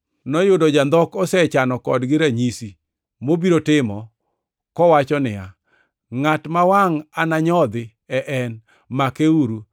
Noyudo jandhok osechano kodgi ranyisi mobiro timo kowacho niya, “Ngʼat ma wangʼ ananyodhi e en; makeuru.”